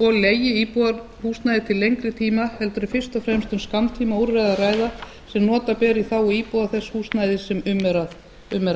og leigi íbúðarhúsnæði til lengri tíma heldur er fyrst og fremst um skammtímaúrræði að ræða sem nota ber í þágu íbúa þess húsnæðis sem um er að